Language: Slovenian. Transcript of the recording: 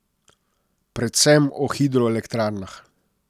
Predvsem o hidroelektrarnah.